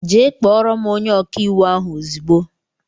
Jee kpọrọ m ónyé ọkà íwú ahụ ozigbo!!!